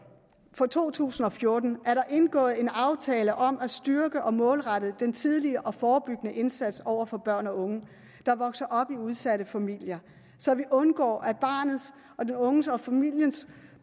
for to tusind og fjorten er der indgået en aftale om at styrke og målrette den tidlige og forebyggende indsats over for børn og unge der vokser op i udsatte familier så vi undgår at barnets og den unges og familiens